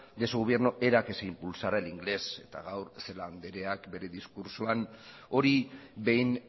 de su gobierno era que se impulsara el inglés eta gaur celaá andreak bere diskurtsoak hori behin